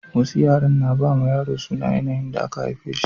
Wasu yaren na ba yaro suna da yanayin da aka haife shi